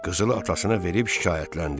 Qızılı atasına verib şikayətləndi.